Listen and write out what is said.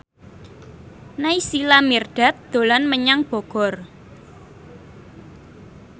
Naysila Mirdad dolan menyang Bogor